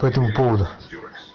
по этому поводу